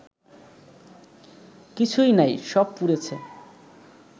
কিছুই নাই সব পুড়েছে